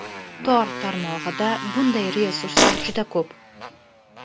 Tor tarmog‘ida bunday resurslar juda ko‘p.